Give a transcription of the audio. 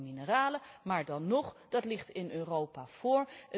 Die gaat over mineralen, maar dan nog, die ligt in Europa voor.